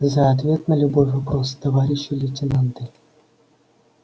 за ответ на любой вопрос товарищи лейтенанты